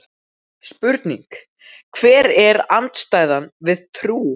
Spurning: Hver er andstæðan við trú?